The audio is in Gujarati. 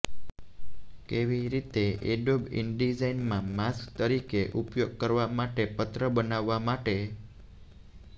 કેવી રીતે એડોબ ઇનડિઝાઇન માં માસ્ક તરીકે ઉપયોગ કરવા માટે પત્ર બનાવવા માટે